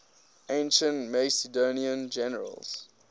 ancient macedonian generals